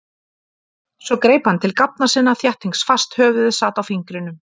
Svo greip hann til gáfna sinna. þéttingsfast, höfuðið sat á fingrinum.